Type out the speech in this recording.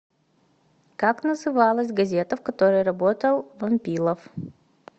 как называлась газета в которой работал вампилов